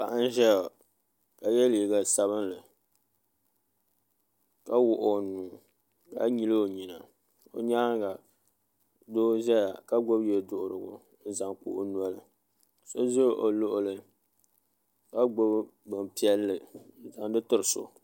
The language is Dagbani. Paɣa n ʒɛya ka yɛ liiga sabinli ka wuɣi o nuu ka nyili o nyina o nyaanga doo ƶɛya ka gbubi yɛ duɣurigu n zaŋ kpa o noli so ʒɛ o luɣulu ka gbubi bin piɛlli n zaŋdi tiri so